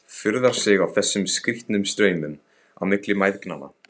Furðar sig á þessum skrýtnu straumum á milli mæðgnanna.